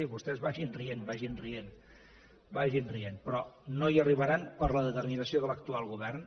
vagin rient vagin rient però no hi arribaran per la determinació de l’actual govern